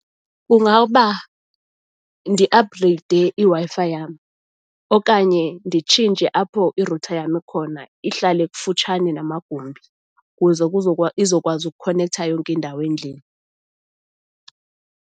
Kungaba ndiaphugreyide iWi-Fi yam okanye nditshintshe apho irutha yam ikhona, ihlale kufutshane namagumbi ukuze izokwazi ukukhonektha yonke indawo endlini.